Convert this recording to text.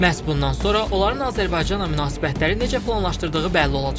Məhz bundan sonra onların Azərbaycanla münasibətləri necə planlaşdırdığı bəlli olacaq.